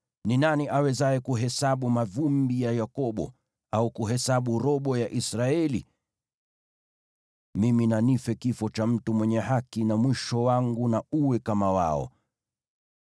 Ni nani awezaye kuhesabu mavumbi ya Yakobo, au kuhesabu robo ya Israeli? Mimi na nife kifo cha mtu mwenye haki, na mwisho wangu na uwe kama wao!”